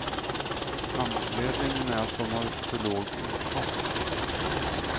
Anledningen är att de har för låg inkomst.